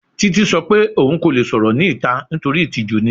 Titi sọ pe oun ko le sọrọ ni ita nitori itiju ni